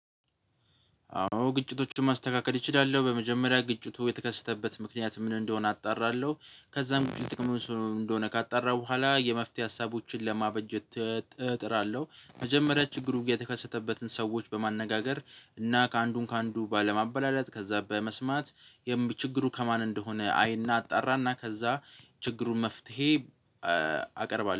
አዎ ግጭቶችን ማስተካከል እችላለሁ። በመጀመሪያ ግጭቱ የተከሰተበት ምክንያት ምን እንደሆነ አጣራለሁ ከዛም ውጭ ጥቅሙስ እንደሆነ ካጣራሁ በኋላ የመፍትሄ ሀሳቦችን ለማበጀት እጥራለሁ። መጀመሪያ ችግሩ የተከሰተበትን ሰዎች በማነጋገር እና ከአንዱን ከአንዱ ባለማበላለጥ ከዛ በመስማት የም ችግሩ ከማን እንደሆነ አይና አጣራና ከዛ ችግሩን መፍትሄ አቀርባለሁ።